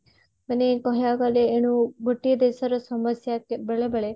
ମାନେ କହିବାକୁ ଗଲେ ଏଣୁ ଗୋଟିଏ ଦେଶର ସମସ୍ଯା ବେଳେ ବେଳେ